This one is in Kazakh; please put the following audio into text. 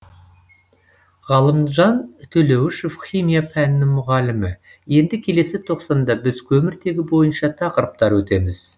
ғалымжан төлеуішев химия пәнінің мұғалімі енді келесі тоқсанда біз көміртегі бойынша тақырыптар өтеміз